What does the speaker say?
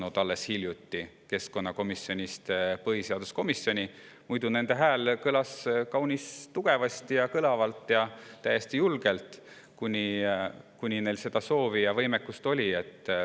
Muidu kõlas hääl kaunis tugevasti, kõlavalt ja täiesti julgelt nii kaua, kuni neil selleks soovi ja võimekust oli.